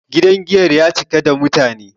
gidan giyar ya cika da mutane